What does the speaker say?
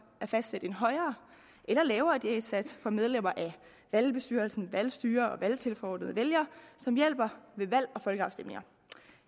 at fastsætte en højere eller lavere diætsats for medlemmer af valgbestyrelsen valgstyrer og valgtilforordnede og vælgere som hjælper ved valg og folkeafstemninger